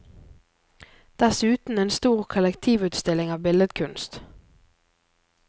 Dessuten en stor kollektivutstilling av billedkunst.